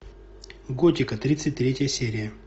готика тридцать третья серия